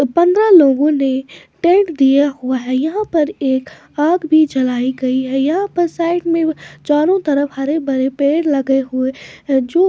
पंद्रह लोगों ने टेंट दिया हुआ है यहां पर एक आग भी जलाई गई है यहां पर साइड में चारों तरफ हरे भरे पेड़ लगे हुए हैं जो --